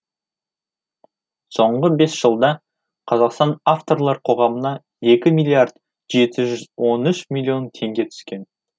соңғы бес жылда қазақстан авторлар қоғамына екі миллиард жеті жүз он үш миллион теңге түскен